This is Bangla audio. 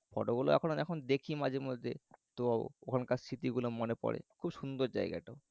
Photo গুলো এখনও এখন দেখি মাঝে মধ্যে তো ওখানকার স্মৃতিগুলো মনে পরে খুব সুন্দর জায়গাটাও